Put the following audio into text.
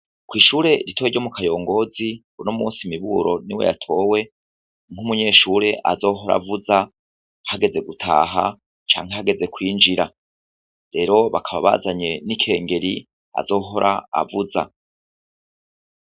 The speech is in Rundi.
Kw'ishure ritoya ryo mu Kayongonzi, uno musi Miburo niwe yatowe nk'umunyeshure azohora avuza hageze gutaha canke hageze kwinjira. Rero bakaba bazanye n'ikengeri azohora avuza.